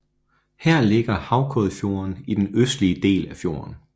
Her ligger Haukøyfjorden i den østlige del af fjorden